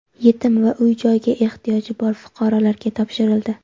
yetim va uy-joyga ehtiyoji bor fuqarolarga topshirildi.